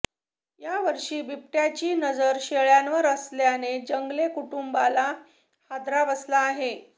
यावर्षीही बिबट्याची नजर शेळ्यांवर असल्याने जंगले कुटुंबाला हादराच बसला आहे